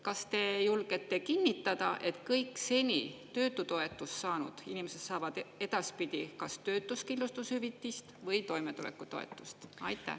Kas te julgete kinnitada, et kõik seni töötutoetust saanud inimesed saavad edaspidi kas töötuskindlustushüvitist või toimetulekutoetust?